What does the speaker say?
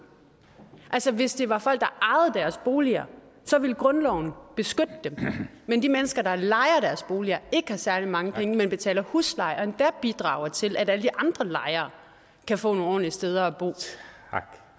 altså hvis det var folk der ejede deres boliger så ville grundloven beskytte dem men de mennesker der lejer deres boliger og ikke har særlig mange penge men betaler husleje og endda bidrager til at alle de andre lejere kan få nogle ordentlige steder at bo